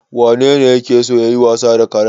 Wanene yake so yayi wasa da karen?